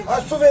Su verin.